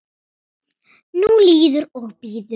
Nú líður og bíður.